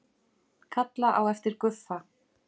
Kalla á eftir Guffa.